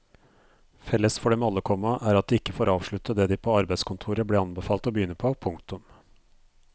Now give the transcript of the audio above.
Felles for dem alle, komma er at de ikke får avslutte det de på arbeidskontoret ble anbefalt å begynne på. punktum